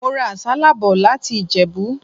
Mo ra àsálà bò láti Ìjẹ̀bú.